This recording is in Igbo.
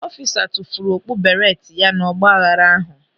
Ọfisa tufuru okpu beereeti ya n'ọgba aghara ahụ.